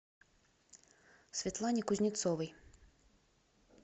светлане кузнецовой